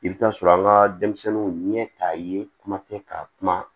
I bɛ taa sɔrɔ an ka denmisɛnninw ɲɛ t'a ye kuma tɛ ka kuma